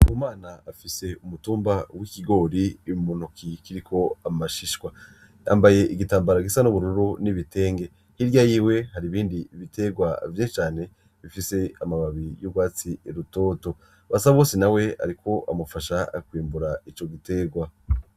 Ndikumana afise umutumba w'ikigori mu ntoke kiriko amashishwa yambaye igitambara gisa n'ubururu n'ibitenge hirya yiwe hari ibindi bitegwa vyinshi cane bifise amababi y'utwatsi rutoto Basabose nawe ariko amufasha kwimbura ico gitegwa.